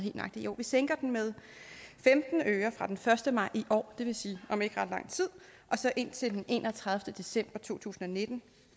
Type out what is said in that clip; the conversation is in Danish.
jo vi sænker den med femten øre fra den første maj i år det vil sige om ikke ret lang tid og så indtil den enogtredivete december to tusind og nitten